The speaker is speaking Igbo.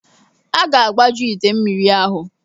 A ga-agbaju ite mmiri ahụ.